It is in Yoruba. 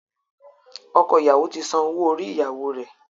Ọkọ ìyàwó ti san owó orí-ìyàwó rẹ.